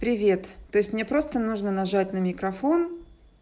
привет то есть мне просто нужно нажать на микрофон